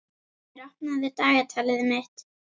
Hjálmur, opnaðu dagatalið mitt.